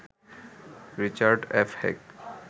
Richard F Heck